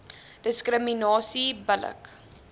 diskriminasie bil lik